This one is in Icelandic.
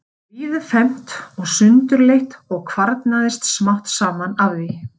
Það var víðfeðmt og sundurleitt og kvarnaðist smám saman af því.